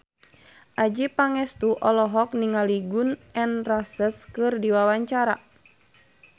Adjie Pangestu olohok ningali Gun N Roses keur diwawancara